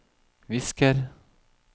visker